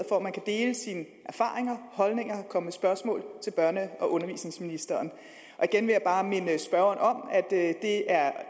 hvor man kan dele sine erfaringer og holdninger og komme med spørgsmål til børne og undervisningsministeren igen vil jeg bare minde spørgeren om at det er